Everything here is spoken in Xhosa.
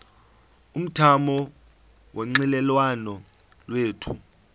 umthamo wonxielelwano lwethu